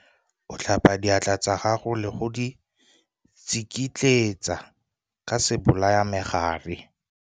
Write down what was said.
O tlhapa diatla tsa gago le go di tsikitletsa ka sebolayamegare.